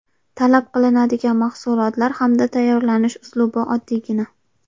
Talab qilinadigan mahsulotlar hamda tayyorlanish uslubi oddiygina.